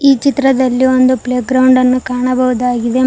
ಈ ಚಿತ್ರದಲ್ಲಿ ಒಂದು ಪ್ಲೇ ಗ್ರೌಂಡ್ ಅನ್ನು ಕಾಣಬಹುದಾಗಿದೆ ಮ--